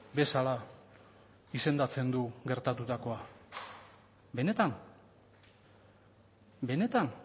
bezala izendatzen du gertatutakoa benetan benetan